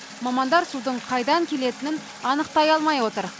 мамандар судың қайдан келетінін анықтай алмай отыр